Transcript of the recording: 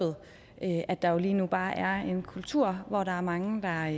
at der jo lige nu bare er en kultur hvor der er mange der